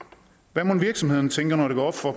hvad mon virksomhederne tænker når det går op for